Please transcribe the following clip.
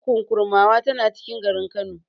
Kurkukun Kurmawa tana cikin garin Kano.